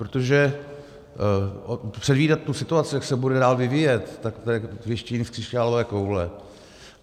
Protože předvídat tu situaci, jak se bude dál vyvíjet, tak to je věštění z křišťálové koule.